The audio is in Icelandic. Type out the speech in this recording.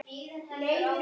Orðstír lifir.